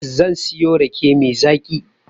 Zan siyo rake mai zaƙi